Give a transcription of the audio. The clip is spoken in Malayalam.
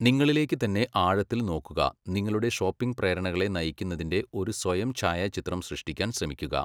നിങ്ങളിലേക്ക് തന്നെ ആഴത്തിൽ നോക്കുക, നിങ്ങളുടെ ഷോപ്പിംഗ് പ്രേരണകളെ നയിക്കുന്നതിന്റെ ഒരു സ്വയം ഛായാചിത്രം സൃഷ്ടിക്കാൻ ശ്രമിക്കുക.